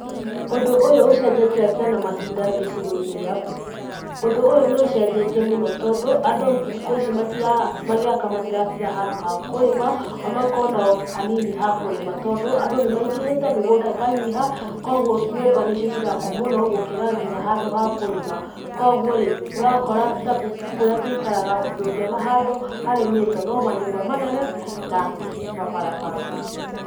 Ũndũ ũyũ ũcenjetie atĩa na mahinda gĩcigo inĩ gĩaku? Ũndũ ũyũ nĩũcenjetie mũno tondũ andũ thikũ ici magĩaka matiakaga matiratiga handũ ha kũrima ona okorũo hanini ha kũrima tondũ andũ nĩ maingĩhĩte, mĩgunda ĩkanyiha kũoguo nyũmba nĩcio cirakwo mũno gũkĩra handũ ha kũrima. Kũoguo rĩ, ũrakora Tabishi kũria tũikaraga ndũngĩona handũ harĩmĩtwo no manyũmba manene na mabarabara.